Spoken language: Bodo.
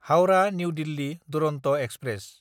हाउरा–निउ दिल्ली दुरन्त एक्सप्रेस